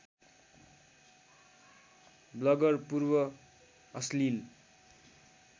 bagger पूर्व अश्लिल